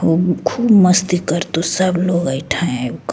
उ खूब मस्ती करतो सब लोग ऐठा आब के।